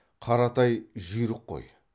қаратай жүйрік қой